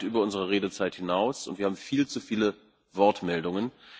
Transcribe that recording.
Wir sind weit über unsere Redezeit hinaus, und wir haben viel zu viele Wortmeldungen.